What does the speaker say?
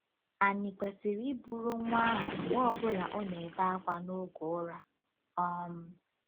Ànyị kwesịrị iburu nwa ahụ mgbe ọ bụla ọ na-ebe akwa n'oge ụra? um